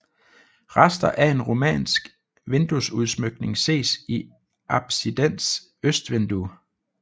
Rester af en romansk vinduesudsmykning ses i apsidens østvindue